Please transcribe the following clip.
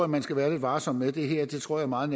man skal være lidt varsom med det her tror jeg meget